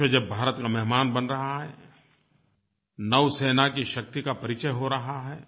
विश्व जब भारत का मेहमान बन रहा है नौसेना की शक्ति का परिचय हो रहा है